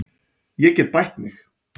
Ég get bætt við mig.